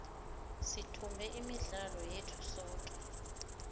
sithumbe imidlalo yethu yoke